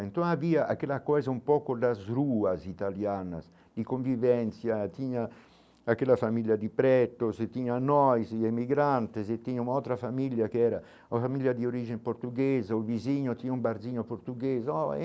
Então havia aquela coisa um pouco das ruas italianas de convivência, tinha aquela família de pretos, tinha nós e imigrantes, e tinha uma outra família que era uma família de origem portuguesa, o vizinho tinha um barzinho português oh.